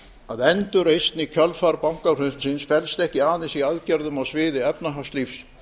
að endurreisn í kjölfar bankahrunsins felst ekki aðeins í aðgerðum á sviði efnahagslífs